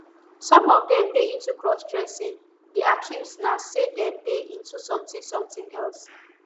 some of dem dey into crossdressing di accuse na say dem dey into somtin somtin else